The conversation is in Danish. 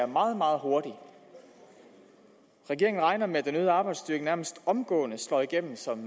meget meget hurtigt regeringen regner med at den øgede arbejdsstyrke nærmest omgående slår igennem som